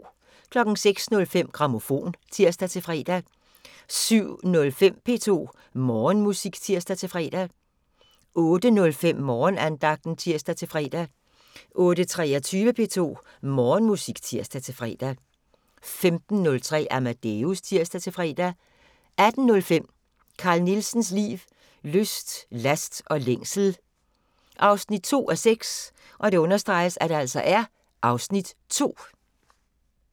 06:05: Grammofon (tir-fre) 07:05: P2 Morgenmusik (tir-fre) 08:05: Morgenandagten (tir-fre) 08:23: P2 Morgenmusik (tir-fre) 15:03: Amadeus (tir-fre) 18:05: Carl Nielsens liv, lyst, last og længsel 2:6 (Afs. 2)